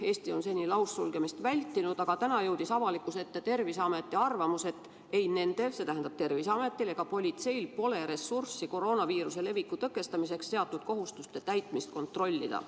Eesti on seni laussulgemist vältinud, aga täna jõudis avalikkuse ette Terviseameti arvamus, et ei Terviseametil ega politseil pole ressurssi, et koroonaviiruse leviku tõkestamiseks seatud kohustuste täitmist kontrollida.